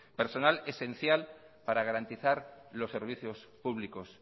personal esencial para garantizar los servicios públicos